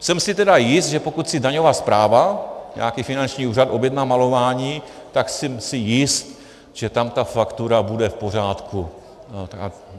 Jsem si tedy jist, že pokud si daňová správa, nějaký finanční úřad, objedná malování, tak jsem si jist, že tam ta faktura bude v pořádku.